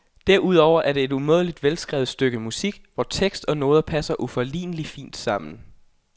Derudover er det et umådeligt velskrevet stykke musik, hvor tekst og noder passer uforligneligt fint sammen.